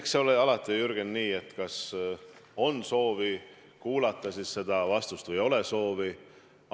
Eks see ole alati, Jürgen, nii, et kas on soovi kuulata vastust või ei ole soovi.